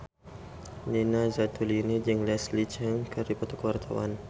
Nina Zatulini jeung Leslie Cheung keur dipoto ku wartawan